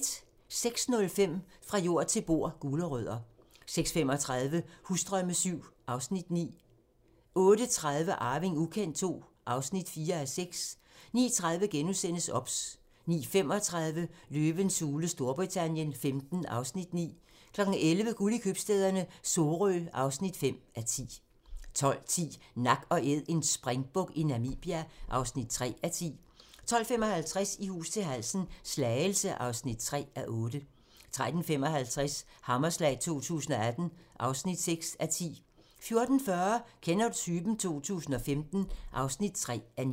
06:05: Fra jord til bord: Gulerødder 06:35: Husdrømme VII (Afs. 9) 08:30: Arving ukendt II (4:6) 09:30: OBS * 09:35: Løvens hule Storbritannien XV (Afs. 9) 11:00: Guld i købstæderne - Sorø (5:10) 12:10: Nak & Æd - en springbuk i Namibia (3:10) 12:55: I hus til halsen - Slagelse (3:8) 13:55: Hammerslag 2018 (6:10) 14:40: Kender du typen? 2015 (3:9)